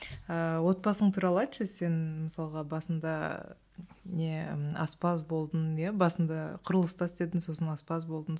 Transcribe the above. ыыы отбасың туралы айтшы сен мысалға басында не аспаз болдың иә басында құрылыста істедің сосын аспаз болдың